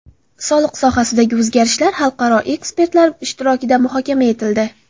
Soliq sohasidagi o‘zgarishlar xalqaro ekspertlar ishtirokida muhokama etildi.